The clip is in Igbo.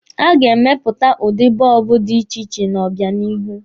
A ga-emepụta udi bọọbụ dị iche iche n'obịanihu.